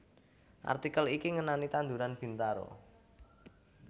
Artikel iki ngenani tanduran Bintaro